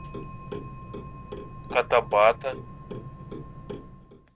котабато